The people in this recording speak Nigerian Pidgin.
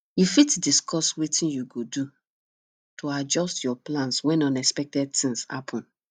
you fit discuss wetin you go do to adjust your plans when unexpected things happen